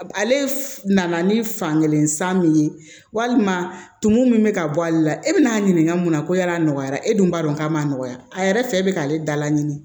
Ale nana ni fankelen san min ye walima tumu min bɛ ka bɔ ale la e bɛna a ɲininka mun na ko yala a nɔgɔyara e dun b'a dɔn k'a ma nɔgɔya a yɛrɛ fɛ bɛ k'ale dala ɲini